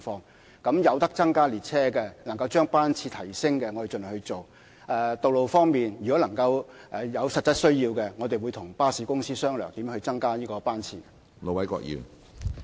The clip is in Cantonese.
鐵路服務方面，如能夠增加列車，將班次提升，我們會盡量去做；道路交通工具方面，如果有實質需要，我們會與巴士公司商量如何增加班次。